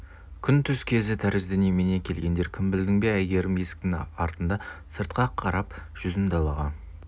күн түс кезі тәрізді немене келгендер кім білдің бе әйгерім есіктің алдында сыртқа қарап жүзін далаға